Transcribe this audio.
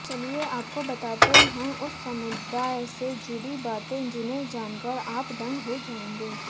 चलिए आपको बतातें है उस समुदाय से जुड़ी बातें जिसे जानकर आप दंग हो जाएंगे